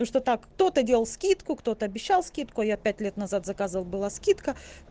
ну что так кто-то делал скидку кто-то обещал скидку а я пять лет назад заказывал была скидка